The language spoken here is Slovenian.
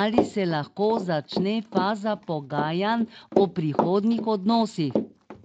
ali se lahko začne faza pogajanj o prihodnjih odnosih.